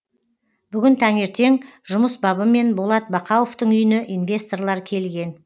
бүгін таңертең жұмыс бабымен болат бақауовтың үйіне инвесторлар келген